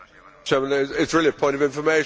It is really a point of information.